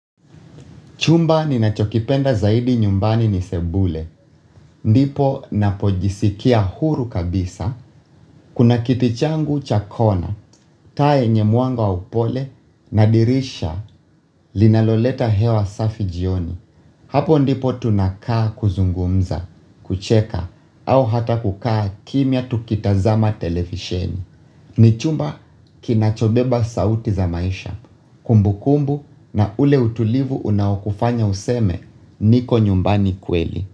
Chumba ninachokipenda zaidi nyumbani ni sebule. Ndipo napojisikia huru kabisa, kuna kiti changu cha kona, taa yenye mwanga wa upole, na dirisha, linaloleta hewa safi jioni. Hapo ndipo tunakaa kuzungumza, kucheka, au hata kukaa kimya tukitazama televisheni. Ni chumba kinachobeba sauti za maisha, kumbukumbu na ule utulivu unaokufanya useme, niko nyumbani kweli.